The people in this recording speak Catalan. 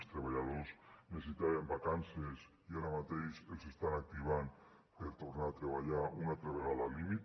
els treballadors necessitaven vacances i ara mateix els estan activant per tornar a treballar una altra vegada al límit